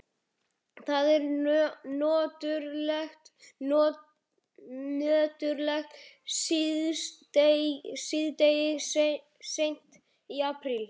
Það er nöturlegt síðdegi seint í aprílmánuði.